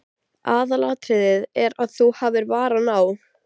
Aðalatriðið er að þú hafir varann á.